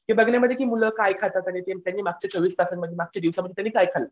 हे बघण्यामध्ये की मुलं काय खातात आणि ते त्यांनी मागच्या चोवीस तासांमध्ये काय खाल्लं.